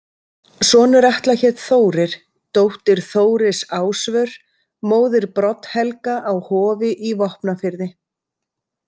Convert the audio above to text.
Sonur Atla hét Þórir, dóttir Þóris Ásvör, móðir Brodd-Helga á Hofi í Vopnafirði.